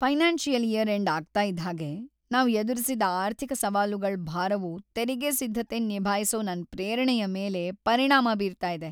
Financial year end ಆಗ್ತಾ ಇದ್ ಹಾಗೆ, ನಾವ್ ಎದುರಿಸಿದ ಆರ್ಥಿಕ ಸವಾಲುಗಳ್ ಭಾರವು ತೆರಿಗೆ ಸಿದ್ಧತೆನ್ ನಿಭಾಯಿಸೊ ನನ್ ಪ್ರೇರಣೆಯ ಮೇಲೆ ಪರಿಣಾಮ ಬೀರ್ತಾ ಇದೆ.